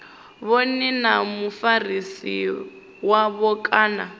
vhone na mufarisi wavho kana